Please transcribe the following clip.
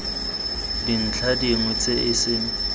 dintlha dingwe tse e seng